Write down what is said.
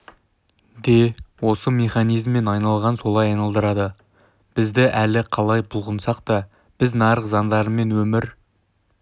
де осы механизммен айналған солай айналдырады бізді әлі қалай бұлқынсақ та біз нарық заңдармен өмір